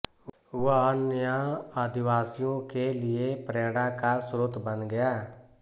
वह अन्य आदिवासियों के लिए प्रेरणा का स्रोत बन गया